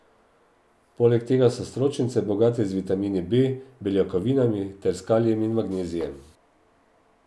Poleg tega so stročnice bogate z vitamini B, beljakovinami ter s kalijem in magnezijem.